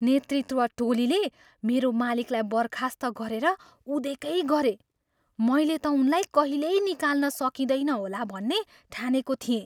नेतृत्व टोलीले मेरो मालिकलाई बर्खास्त गरेर उदेकै गरे। मैले त उनलाई कहिल्यै निकाल्न सकिँदैन होला भन्ने ठानेको थिएँ।